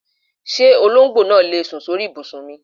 Ṣé olóńgbò náà lè sùn sóri ìbùsùn mi?